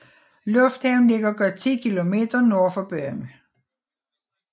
Lufthavnen ligger godt 10 km nord for byen